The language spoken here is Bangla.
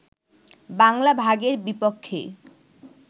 বাংলা ভাগের বিপক্ষেই